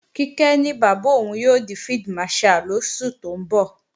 Kíkẹ́ ní bàbá òun yóò di Field Marshal lóṣù tó ń bọ̀